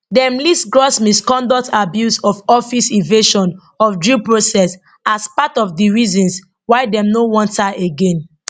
dem list gross misconduct abuse of office evasion of due process as part of di reasons why dem no want her again